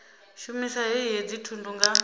shumisa hei hedzi thundu nga